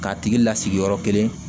K'a tigi lasigi yɔrɔ kelen